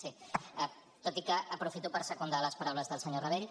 sí tot i que aprofito per secundar les paraules del senyor rabell